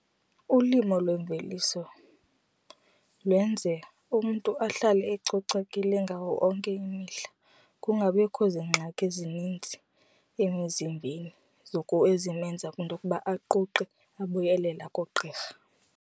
Ulimo lwemveliso lwenze umntu ahlale ecocekile ngawo onke imihla kungabikho zingxaki ezinintsi emizimbeni ezimenza kwinto yokuba aquqe ebuyelela koogqirha.